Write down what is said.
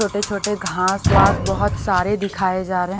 छोटे-छोटे घासवास बहुत सारे दिखाए जा रहे --